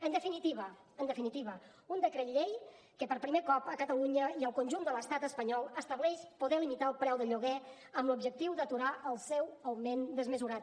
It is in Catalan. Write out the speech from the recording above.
en definitiva en definitiva un decret llei que per primer cop a catalunya i al conjunt de l’estat espanyol estableix poder limitar el preu del lloguer amb l’objectiu d’aturar el seu augment desmesurat